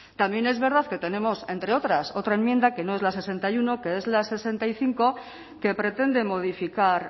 también es verdad que tenemos entre otras otra enmienda que no es la sesenta y uno que es la sesenta y cinco que pretende modificar